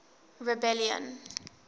rebellion